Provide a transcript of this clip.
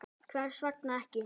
Hvers vegna ekki?